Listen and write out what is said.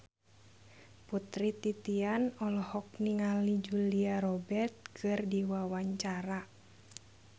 Putri Titian olohok ningali Julia Robert keur diwawancara